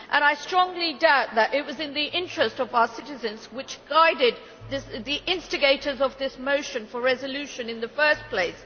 I strongly doubt that it was the interests of our citizens which guided the instigators of this motion for resolution in the first place.